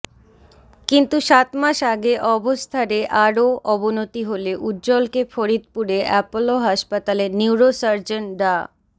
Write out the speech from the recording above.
কিন্তু সাত মাস আগে অবস্থারেআরও অবনতি হলে উজ্জলকে ফরিদপুরে অ্যাপলো হাসপাতালে নিউরো সার্জন ডা